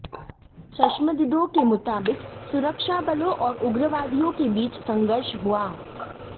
चश्मदीदों के मुताबिक सुरक्षा बलों और उग्रवादियों के बीच संघर्ष हुआ